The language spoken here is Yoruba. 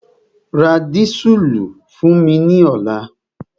Ra dísùlù fún mi ní ọ̀la!